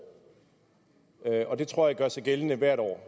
det tror jeg gør sig gældende hvert år